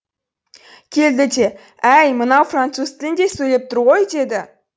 келді де әй мынау француз тілінде сөйлеп тұр ғой деді